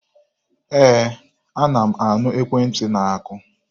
Ee, ana m anụ ekwentị na-akụ.